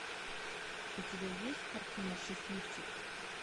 у тебя есть картина счастливчик